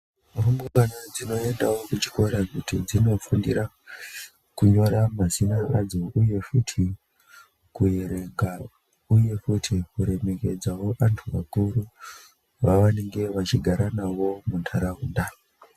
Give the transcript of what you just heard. Rumbwana dzino endawo ku chikora kuti dzino fundira kunyora mazina adzo uye futi ku erenga uye futi ku remekedzawo antu akuru va vanenge vachigara navo mu ndaraunda.